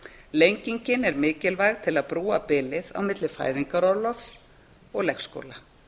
lengingin er mikilvæg til að búa bilið á milli fæðingarorlofs og leikskóla